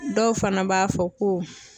Dɔw fana b'a fɔ ko